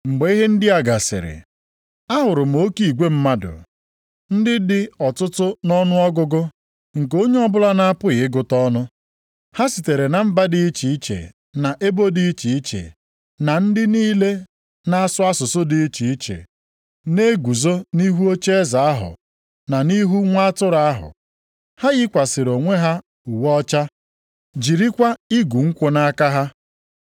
Mgbe ihe ndị a gasịrị, ahụrụ m oke igwe mmadụ, ndị dị ọtụtụ nʼọnụọgụgụ nke onye ọbụla na-apụghị ịgụta ọnụ. Ha sitere na mba dị iche iche na ebo dị iche iche na ndị niile na asụsụ dị iche iche, na-eguzo nʼihu ocheeze ahụ na nʼihu Nwa Atụrụ ahụ. Ha yikwasịrị onwe ha uwe ọcha, jirikwa igu nkwụ nʼaka ha.